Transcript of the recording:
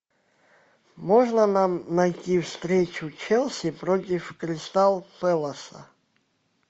можно нам найти встречу челси против кристал пэласа